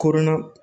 Koronna